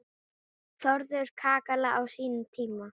Þórðar kakala á sínum tíma.